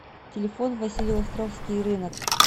телефон василеостровский рынок